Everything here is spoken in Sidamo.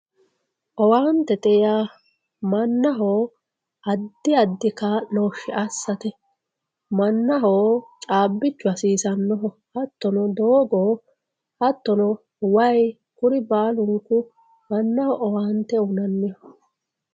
Owaantete yaa mannaho addi addi kaa'loshshe assate mannaho caabbichu hasiisanoho hattono doogo hattono waayi kuri baalunku mannaho owaante uyinanniho.